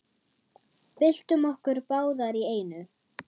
Byltum okkur báðar í einu.